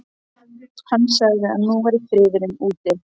Hann sagði að nú væri friðurinn úti.